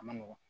A ma nɔgɔn